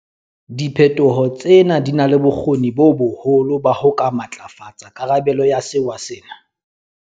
Diphetho tsena di na le bokgoni bo boholo ba ho ka matlafatsa karabelo ya sewa sena.